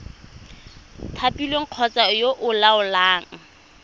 thapilweng kgotsa yo o laolang